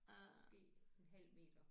Måske en halv meter